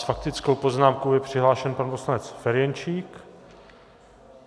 S faktickou poznámkou je přihlášen pan poslanec Ferjenčík.